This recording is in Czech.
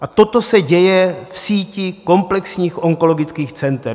A toto se děje v síti komplexních onkologických center.